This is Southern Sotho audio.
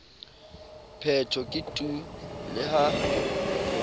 phetho ke tu le ha